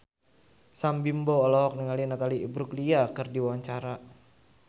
Sam Bimbo olohok ningali Natalie Imbruglia keur diwawancara